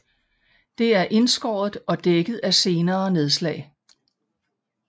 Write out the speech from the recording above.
Det er indskåret og dækket af senere nedslag